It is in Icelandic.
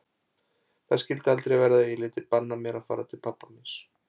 Það skyldi aldrei verða að ég léti banna mér að fara til pabba míns.